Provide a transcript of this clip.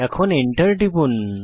এখন এন্টার টিপুন